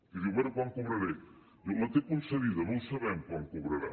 i diu bé quan cobraré diu la té concedida no ho sabem quan cobrarà